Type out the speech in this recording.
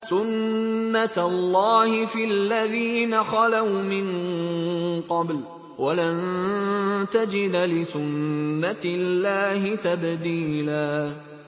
سُنَّةَ اللَّهِ فِي الَّذِينَ خَلَوْا مِن قَبْلُ ۖ وَلَن تَجِدَ لِسُنَّةِ اللَّهِ تَبْدِيلًا